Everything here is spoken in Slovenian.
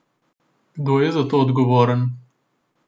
Kdo je za to odgovoren?